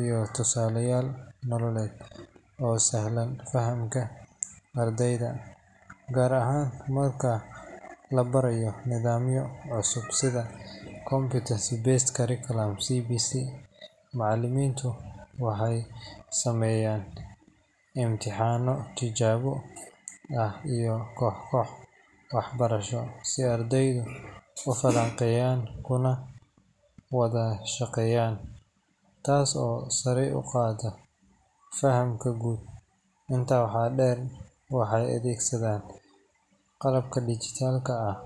iyo tusaalayaal nololeed oo sahla fahamka ardayda, gaar ahaan marka la barayo nidaamyo cusub sida Competency Based Curriculum CBC. Macallimiintu waxay sameeyaan imtixaano tijaabo ah iyo koox-koox waxbarasho si ardaydu u falanqeeyaan kuna wada shaqeeyaan, taas oo sare u qaadda fahamka guud. Intaa waxaa dheer, waxay adeegsadaan qalabka dhijitaalka ah.